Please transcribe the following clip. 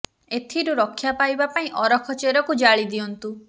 ଏଥିରୁ ରକ୍ଷା ପାଇବା ପାଇଁ ଅରଖ ଚେରକୁ ଜାଳି ଦିଅନ୍ତୁ